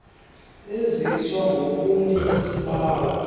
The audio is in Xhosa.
aziswa ngobuninzi bawo